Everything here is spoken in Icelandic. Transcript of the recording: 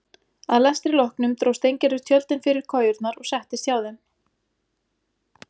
Að lestri loknum dró Steingerður tjöldin fyrir kojurnar og settist hjá þeim.